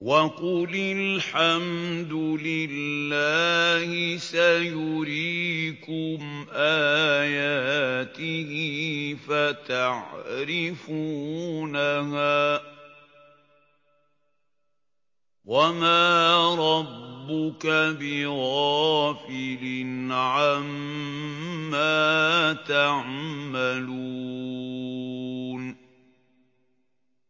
وَقُلِ الْحَمْدُ لِلَّهِ سَيُرِيكُمْ آيَاتِهِ فَتَعْرِفُونَهَا ۚ وَمَا رَبُّكَ بِغَافِلٍ عَمَّا تَعْمَلُونَ